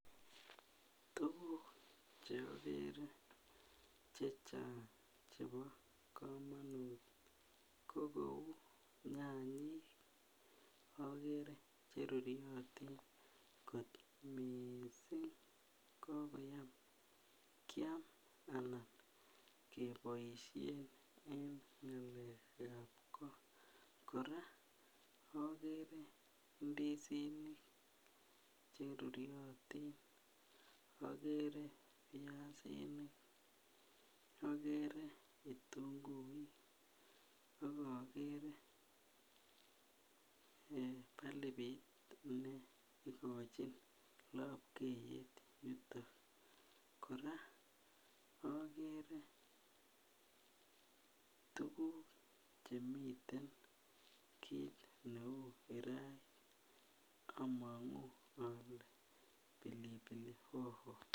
Tukuk cheokere chechang chebo komonut ko cheu nyanyik okere cheruryotin kot missing kokoyam kiam anan keboishen en ngalekab koo. Koraa okere ndisinik cheruryotin okere piasinik, okere kitunguik ak okere eh bulbit neikochin lobkeiyet yoto. Koraa okere tukuk chemiten kit neu kirait omongu ole pilipili hoho.